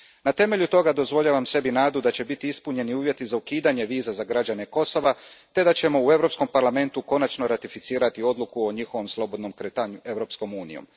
Na temelju toga dozvoljavam sebi nadu da će biti ispunjeni uvjeti za ukidanje viza za građane Kosova te da ćemo u Europskom parlamentu konačno ratificirati odluku o njihovom slobodnom kretanju Europskom unijom.